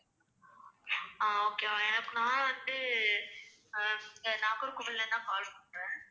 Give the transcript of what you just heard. ஆஹ் okay ma'am எனக்கு நான் வந்து ஹம் இங்க நாகர்கோவில்ல இருந்துதான் call பண்றேன்